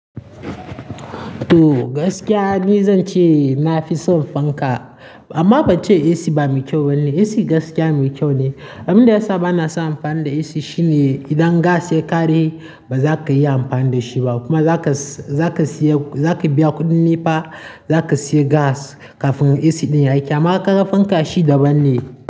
To gaskiya ni zan ce na fi son fanka amma ban ce AC bamai kyau bane. AC gaskiya mai kyau ne. Abin da ya sa ba na son amfani da AC shine idan gas ya ƙare ba za ka iya amfani da shi ba kuma za ka, za ka siya, za ka biya kuɗin NEPA, za ka siya gas kafin AC ɗin ya yi aiki amma ƙarafin kashi daban ne.